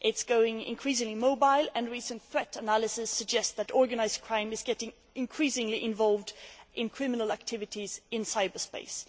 It is going increasingly mobile, and recent threat analysis suggests that organised crime is getting increasingly involved in criminal activities in cyberspace.